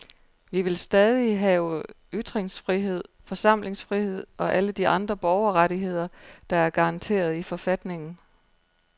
Vi vil stadig have ytringsfrihed, forsamlingsfrihed og alle de andre borgerrettigheder, der er garanteret i forfatningen.